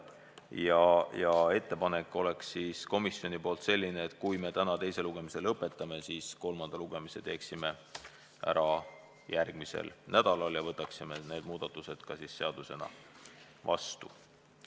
Komisjoni ettepanek on selline, et kui me täna teise lugemise lõpetame, siis kolmanda lugemise teeksime ära järgmisel nädalal ja võtaksime selle eelnõu ka seadusena vastu.